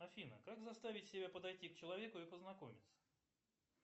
афина как заставить себя подойти к человеку и познакомиться